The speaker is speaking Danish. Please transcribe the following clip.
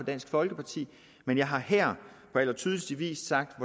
dansk folkeparti men jeg har her på allertydeligste vis sagt